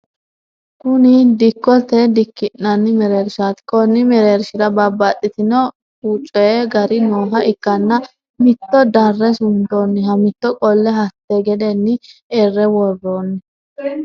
Kuni dikkotenna dikki'nanni mereershaati konni merershira babbaxino ucvi gari nooha ikkanna mito darre suntooniha mito qolle hatte gedeenni erre worroonni.